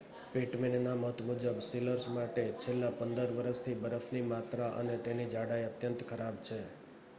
પિટમેનના મત મુજબ સીલર્સ માટે છેલ્લા 15 વરસથી બરફની માત્રા અને તેની જાડાઈ અત્યંત ખરાબ છે